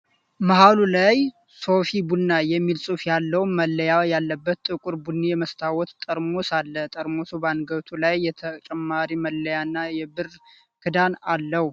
መሃሉ ላይ "ሶፊ ቡና" የሚል ጽሑፍ ያለው መለያ ያለበት ጥቁር ቡኒ የመስታወት ጠርሙስ አለ። ጠርሙሱ በአንገቱ ላይ ተጨማሪ መለያና የብር ክዳን አለው።